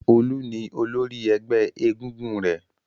Olú ni olórí ẹgbẹ́ egúngún rẹ̀.